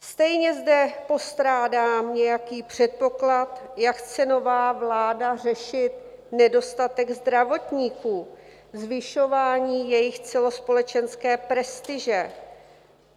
Stejně zde postrádám nějaký předpoklad, jak chce nová vláda řešit nedostatek zdravotníků, zvyšování jejich celospolečenské prestiže.